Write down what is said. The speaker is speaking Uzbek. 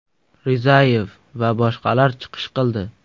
Rizayev va boshqalar chiqish qildi.